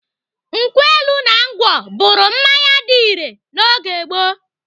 Nkwụ elu na ngwọ bụrụ mmanya dị irè na oge gboo.